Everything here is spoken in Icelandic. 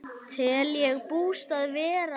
Tel ég bústað vera það.